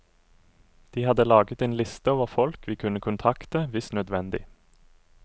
De hadde laget en liste over folk vi kunne kontakte hvis nødvendig.